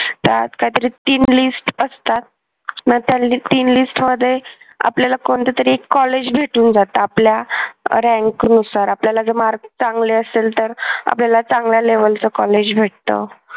त्यात काहीतरी तीन list असतात मग त्यातीन list मध्ये आपल्याला कोणत तरी एक कॉलेज भेटून जात आपल्या rank नुसार आपल्याला जर mark चांगले असेल तर आपल्याला चांगल्या level च कॉलेज भेटतं.